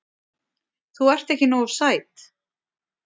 Þú ert ekki nógu sæt.